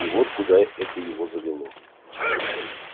и вот куда это его завело